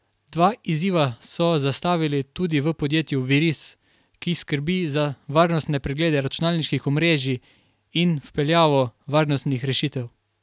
Dva izziva so zastavili tudi v podjetju Viris, ki skrbi za varnostne preglede računalniških omrežij in vpeljavo varnostnih rešitev.